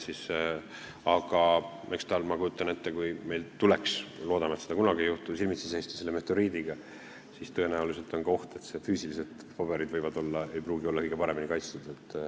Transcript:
Aga ma kujutan ette, et kui meil tuleks – loodame, et seda kunagi ei juhtu – silmitsi seista selle meteoriidiga, siis on tõenäoliselt ka oht, et füüsiliselt ei pruugi paberid olla kõige paremini kaitstud.